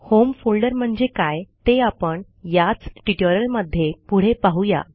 home folder म्हणजे काय ते आपण याच ट्युटोरियलमध्ये पुढे पाहू या